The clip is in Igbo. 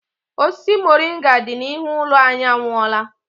Osisi moringa dị n'ihu ụlọ anyị anwụọọla.